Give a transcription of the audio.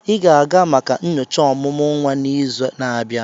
Ị ga-aga maka nyocha ọmụmụ nwa n'izu na-abịa!